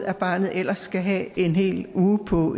at barnet ellers skal have en hel uge på